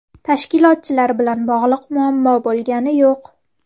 Tashkilotchilar bilan bog‘liq muammo bo‘lgani yo‘q.